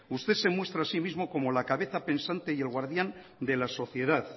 usted se muestra a sí mismo como la cabeza pensante y el guardián de la sociedad